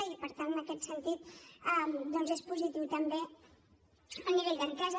i per tant en aquest sentit és positiu també el nivell d’entesa